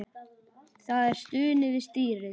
Það er stunið við stýrið.